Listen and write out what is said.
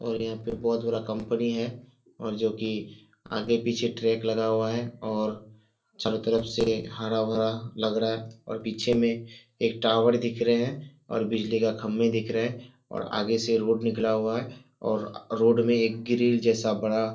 और यहां पे बहोत बड़ा कंपनी है और जो कि आगे पिचे ट्रैक लगा हुआ हैऔर चारो तरफ से हरा-भरा लग रहा हैऔर पीछे में एक टावर दिख रहे हैंऔर बिजली का खंबे दिख रहा है और आगे से रोड निकला हुआ है और रोड में एक ग्रिल जैसा बड़ा --